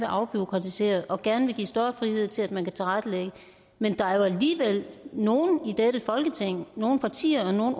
afbureaukratisere og gerne vil give større frihed til at man kan tilrettelægge men der er jo alligevel nogle i dette folketing nogle partier og nogle